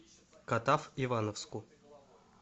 катав ивановску